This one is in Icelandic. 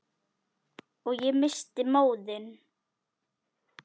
Og ég missti móðinn.